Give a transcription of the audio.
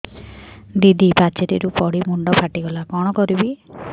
ଦିଦି ପାଚେରୀରୁ ପଡି ମୁଣ୍ଡ ଫାଟିଗଲା କଣ କରିବି